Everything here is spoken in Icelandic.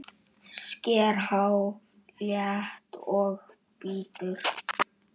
Sker haglél og bítur.